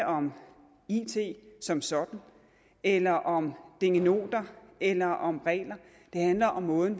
om it som sådan eller om dingenoter eller om regler det handler om måden